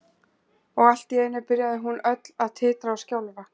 Og allt í einu byrjaði hún öll að titra og skjálfa.